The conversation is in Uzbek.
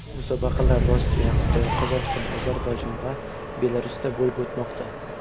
Musobaqalar Rossiya, Xitoy, Qozog‘iston, Ozarbayjon va Belarusda bo‘lib o‘tmoqda.